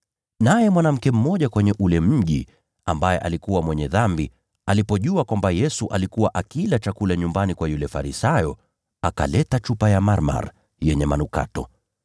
Naye mwanamke mmoja kwenye ule mji, ambaye alikuwa mwenye dhambi, alipojua kwamba Yesu alikuwa akila chakula nyumbani kwa yule Farisayo, akaleta chupa ya marhamu yenye manukato.